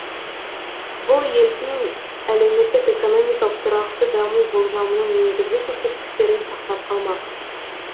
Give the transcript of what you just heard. бұл елдің әлеуметтік экономикалық тұрақты даму болжамының негізгі көрсеткіштерін сақтап қалмақ